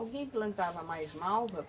Alguém plantava mais malva?